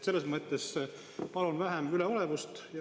Selles mõttes palun vähem üleolevust.